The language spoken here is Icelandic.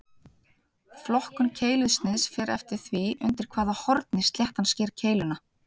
Flokkun keilusniðs fer eftir því undir hvaða horni sléttan sker keiluna.